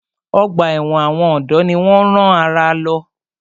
Ọgbà ẹ̀wọ̀n àwọn ọ̀dọ́ ni wọ́n rán àrà lọ.